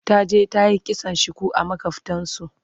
taje ta yi kitson shuku a makwaftansu